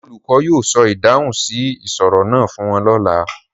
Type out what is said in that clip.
The teacher will tell them the answer to the riddle tomorrow